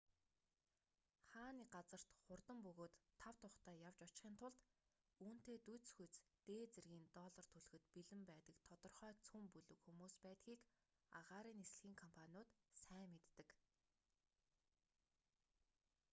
хаа нэг газарт хурдан бөгөөд тав тухтай явж очихын тулд үүнтэй дүйцэхүйц дээд зэргийн доллар төлөхөд бэлэн байдаг тодорхой цөм бүлэг хүмүүс байдгийг агаарын нислэгийн компаниуд сайн мэддэг